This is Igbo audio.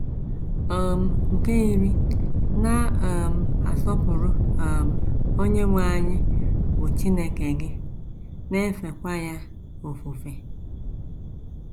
um Nke iri: “ Na - um asọpụrụ um Onyenwe anyị bụ́ Chineke gị, na - efekwa nanị ya ofufe. ”